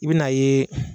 I bɛn'a ye